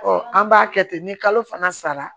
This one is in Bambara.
an b'a kɛ ten ni kalo fana sara